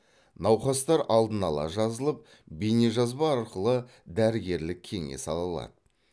науқастар алдын ала жазылып бейнежазба арқылы дәрігерлік кеңес ала алады